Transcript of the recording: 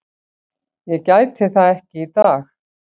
Ég gæti það ekki í dag.